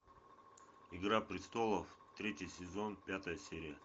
игра престолов третий сезон пятая серия